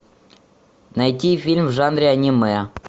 найти фильм в жанре аниме